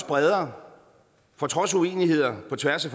bredere for trods uenigheder på tværs